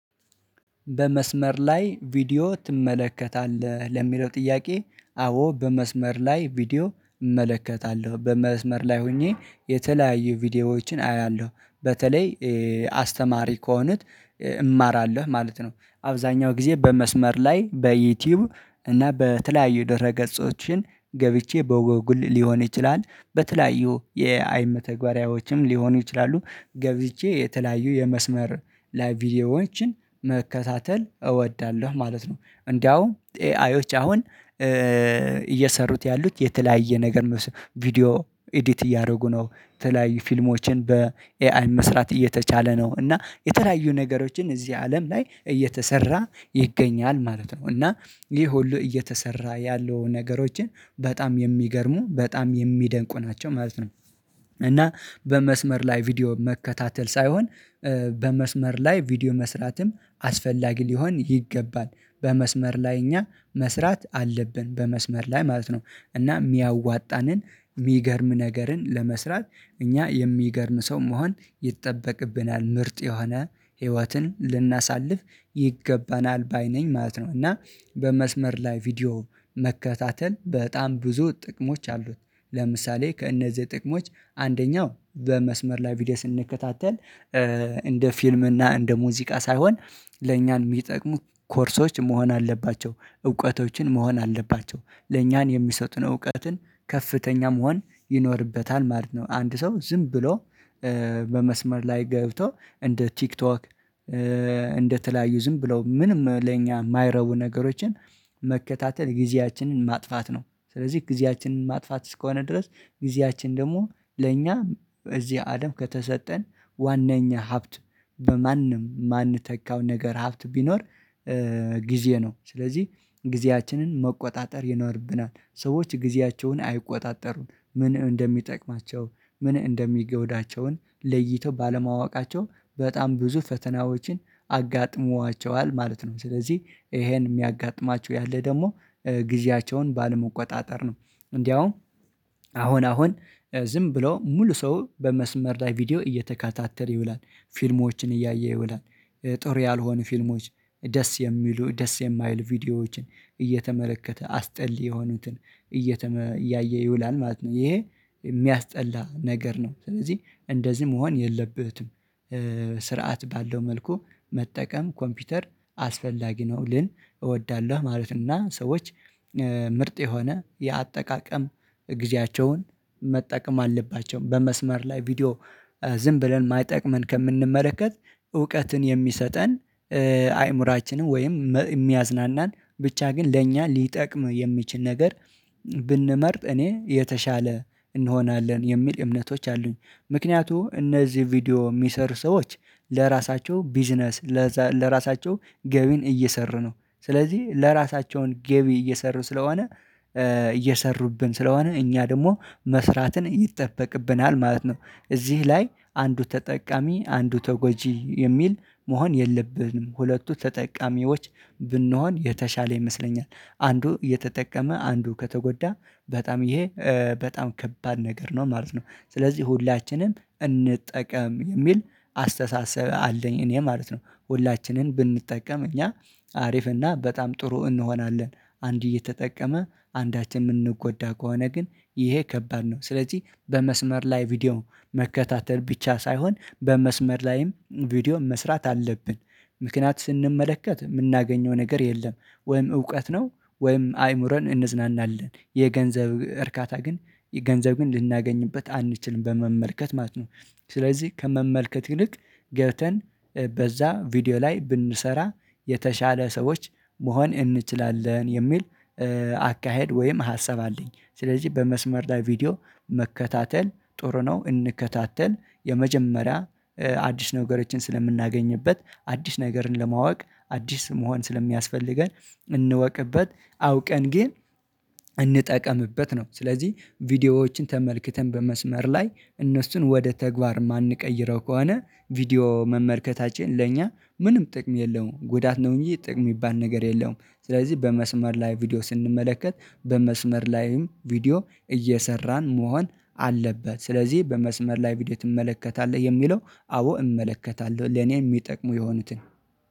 በመስመር ላይ ቪዲዮ ትመለከታለህ ለሚለው ጥያቄ? አዎ በመስመር ላይ ቪዲዮ እመለከታለሁ በመስመር ላይ ሆኜ የተለያዩ ቪዲዮዎችን አያለሁ በተለይ አስተማሪ ከሆነ እማራለሁ ማለት ነው። አብዛኛው ጊዜ በመስመር ላይ በዩቲዩብ እና በተለያዩ ድህረ ገጾችን ገብቼ በጎግል ሊሆን ይችላል በተለያዩ የኤአይ መተግበሪያዎችም ሊሆኑ ይችላሉ ገብቼ የተለያዩ የመስመር ላይ ቪዲዮዎችን መከታተል እወዳለሁ ማለት ነው። እንዲያውም ኤአዬች አሁን እየሰሩት ያሉት የተለያየ ነገር ቪዲዮ ኤዲት እያደረጉ ነው የተለያዩ ፊልሞችን በኤአይ መስራት እየተቻለ ነው እና የተለያዩ ነገሮችን እዚህ አለም ላይ እየተሰራ ይገኛል ማለት ነው እና ይሄ ሁሉ እየተሰራ ያለው ነገሮችን በጣም የሚገርሙ በጣም የሚደንቁ ናቸው ማለት ነው። እና በመስመር ላይ ቪዲዮ መከታተል ሳይሆን በመስመር ላይ ቪዲዮ መስራትም አስፈላጊ ሊሆን ይገባል። በመስመር ላይ እኛ መስራት አለብን በመስመር ላይ ማለት ነው እና የሚያዋጣንን የሚገርም ነገርን ለመስራት እኛ የሚገርም ሰው መሆን ይጠበቅብናል ምርጥ የሆነ ህይወትን ልናሳልፍ ይገባናል ባይ ነኝ ማለት ነው። እና በመስመር ላይ ቪዲዮ መከታተል በጣም ብዙ ጥቅሞች አሉት ለምሳሌ ከእነዚህ ጥቅሞች አንደኛው በመስመር ላይ ቪዲዮ ስንከታተል እንደ ፊልም እና እንደ ሙዚቃ ሳይሆን ለእኛን የሚጠቅሙ ኮርሶች መሆን አለባቸው እውቀቶችን መሆን አለባቸው ለእኛን የሚሰጡን እውቀትን ከፍተኛ መሆን ይኖርበታል ማለት ነው። አንድ ሰው ዝም ብሎ በመስመር ላይ ገብቶ እንደ ቲክቶክ እንደ ተለያዩ ዝም ብለው ምንም ለኛ የማይረቡ ነገሮችን መከታተል ጊዜያችንን ማጥፋት ነው። ስለዚህ ጊዜያችንን ማጥፋት እስከሆነ ድረስ ጊዜያችን ደግሞ ለእኛ እዚህ አለም ከተሰጠን ዋናኛ ሀብት በማንም የማንተካው ነገር ሀብት ቢኖር ጊዜ ነው። ስለዚህ ጊዜያችንን መቆጣጠር ይኖርብናል ሰዎች ጊዜያቸውን አይቆጣጠሩም ምን እንደሚጠቅማቸው ምን እንደሚጎውዳቸው ለይተው ባለማወቃቸው በጣም ብዙ ፈተናዎችን አጋጥሟቸዋል ማለት ነው። ስለዚህ ይሄን የሚያጋጥማቸው ያለ ደግሞ ጊዜያቸውን ባለመቆጣጠር ነው እንዲያውም አሁን አሁን ዝም ብለው ሙሉ ሰው በመስመር ላይ ቪዲዮ እየተከታተል ይውላል። ፊልሞችን እያየ ይውላል ጥሩ ያልሆኑ ፊልሞች ደስ የሚሉ ደስ የማይሉ ቪዲዮዎችን እየተመለከተ አስጠሊ የሆኑትን እየተመለከተ እያየ ይውላል ማለት ነው። ይሄ የሚያስጠላ ነገር ነው ስለዚህ እንደዚህ መሆን የለበትም። ስርዓት ባለው መልኩ መጠቀም ኮምፒውተር አስፈላጊ ነው ግን እወዳለሁ ማለት ነው። እና ሰዎች ምርጥ የሆነ የአጠቃቀም ጊዜያቸውን መጠቀም አለባቸው በመስመር ላይ ቪዲዮ ዝም ብለን የማይጠቅመን ከምንመለከት እውቀትን የሚሰጠን አይምሮአችንን ወይም የሚያዝናናን ብቻ ግን ለእኛ ሊጠቅም የሚችል ነገር ብንመርጥ እኔ የተሻለ እንሆናለን የሚል እምነቶች አሉኝ። ምክንያቱም እነዚህ ቪዲዮ የሚሰሩ ሰዎች ለራሳቸው ቢዝነስ ለራሳቸው ገቢን እየሰሩ ነው ስለዚህ የራሳቸውን ገቢ እየሰሩ ስለሆነ እየሰሩብን ስለሆነ እኛ ደግሞ መስራትን ይጠበቅብናል ማለት ነው። እዚህ ላይ አንዱ ተጠቃሚ አንዱ ተጎጂ የሚል መሆን የለብንም ሁለቱ ተጠቃሚዎች ብንሆን የተሻለ ይመስለኛል አንዱ እየተጠቀመ አንዱ ከተጎዳ በጣም ይሄ በጣም ከባድ ነገር ነው ማለት ነው። ስለዚህ ሁላችንም እንጠቀም የሚል አስተሳሰብ አለኝ እኔ ማለት ነው ሁላችንም ብንጠቀም እኛ ሀሪፍ እና በጣም ጥሩ እንሆናለን። አንዱ እየተጠቀመ አንዳችን የምንጎዳ ከሆነ ግን ይሄ ከባድ ነው ስለዚህ በመስመር ላይ ቪዲዮ መከታተል ብቻ ሳይሆን በመስመር ላይም ቪዲዮ መስራት አለብን። ምክንያት ስንመለከት የምናገኘው ነገር የለም ወይም እውቀት ነው ወይም አይምሮን እንዝናናለን የገንዘብ እርካታ ግን ገንዘብ ግን ልናገኝበት አንችልም በመመልከት ማለት ነው። ስለዚህ ከመመልከት ይልቅ ገብተን በዛ ቪዲዮ ላይ ብንሰራ የተሻለ ሰዎች መሆን እንችላለን የሚል አካሄድ ወይም ሀሳብ አለኝ። ስለዚህ በመስመር ላይ ቪዲዮ መከታተል ጥሩ ነው። እንከታተል የመጀመሪያ አዲስ ነገሮችን ስለምናገኝበት አዲስ ነገርን ለማወቅ አዲስ መሆን ስለሚያስፈልገን እንወቅበት አውቀን ግን እንጠቀምበት ነው ስለዚህ ቪዲዮዎችን ተመልክተን በመስመር ላይ እነሱን ወደ ተግባር የማንቀይረው ከሆነ ቪዲዮ መመልከታችን ለእኛ ምንም ጥቅም የለውም ጉዳት ነው እንጂ ጥቅም የሚባል ነገር የለውም። ስለዚህ በመስመር ላይ ቪዲዮ ስንመለከት በመስመር ላይም ቪዲዮ እየሰራን መሆን አለበት ስለዚህ በመስመር ላይ ቪዲዮ ትመለከታለህ የሚለው አዎ እመለከታለሁ ለኔ የሚጠቅሙ የሆኑትን